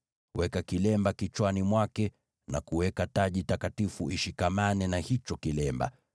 Weka kilemba kichwani mwake na kuweka taji takatifu ishikamane na hicho kilemba.